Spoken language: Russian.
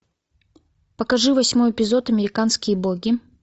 покажи восьмой эпизод американские боги